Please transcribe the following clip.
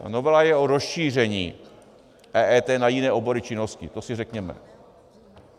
Ta novela je o rozšíření EET na jiné obory činnosti, to si řekněme.